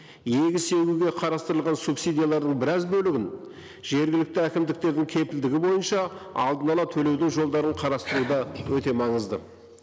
егіс егуге қарастырылған субсидиялардың біраз бөлігін жергілікті әкімдіктердің кепілдігі бойынша алдын ала төлеудің жолдарын қарастыру да өте маңызды